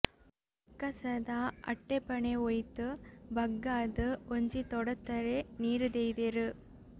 ಅಕ್ಕಸದ ಅಟ್ಟೆ ಪಣೆ ಓಯ್ತ್ ಬಗ್ಗಾದ್ ಒಂಜಿ ತೊಡತ್ತರೆ ನೀರ್ ದೆಯಿದ್ದೇರ್